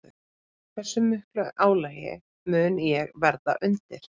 Hversu miklu álagi mun ég verða undir?